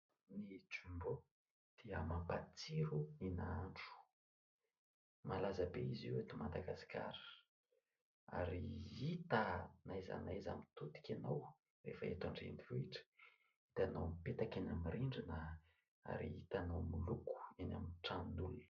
Ny "Jumbo" dia mampatsiro ny nahandro, malaza be izy io eto Madagasikara ary hita na aiza na aiza mitodika ianao rehefa eto an-drenivohitra, hitanao mipetaka eny amin'ny rindrina ary hitanao miloko eny amin'ny tranon'olona.